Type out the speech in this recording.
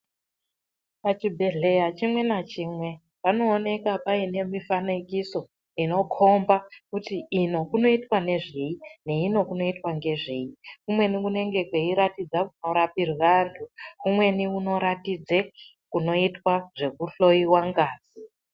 Pachibhedhleya chimwe nachimwe, panooneka paine mifanikiso, inokhomba kuti ino kunoitwa nezvei ,neino kunoitwa ngezvei. Kumweni kunenge kweiratidza kunorapirwa anhu, kumweni kunoratidze kunoitwa zvekuhloiwa ngazi.